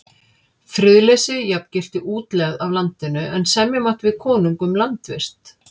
Friðleysi jafngilti útlegð af landinu, en semja mátti við konung um landvist.